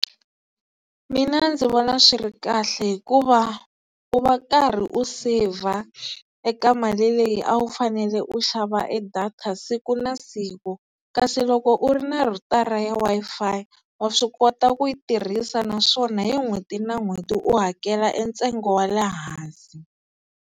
Mina ndzi vona swi ri kahle hikuva u va u karhi u save-a eka mali leyi a wu fanele u xava e data siku na siku, kasi loko u ri na rhutara ya Wi-Fi wa swi kota ku yi tirhisa naswona hi n'hweti na n'hweti u hakela e ntsengo wa le hansi.